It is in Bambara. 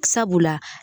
Sabula